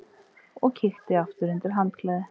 Og kíkti aftur undir handklæðið.